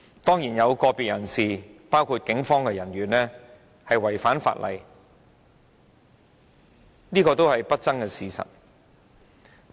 當然，有個別人士包括警方人員違反法例，是不爭的事實。